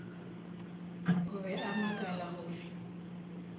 o be a makala gore